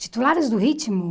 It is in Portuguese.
Titulares do ritmo?